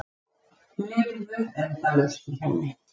Lifðu endalaust í henni.